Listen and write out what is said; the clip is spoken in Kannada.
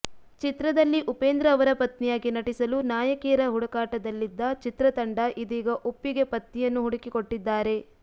ಚಿತ್ರದಲ್ಲಿ ಉಪೇಂದ್ರ ಅವರ ಪತ್ನಿಯಾಗಿ ನಟಿಸಲು ನಾಯಕಿಯರ ಹುಡುಕಾಟದಲ್ಲಿದ್ದ ಚಿತ್ರತಂಡ ಇದೀಗ ಉಪ್ಪಿಗೆ ಪತ್ನಿಯನ್ನು ಹುಡುಕಿ ಕೊಟ್ಟಿದ್ದಾರೆ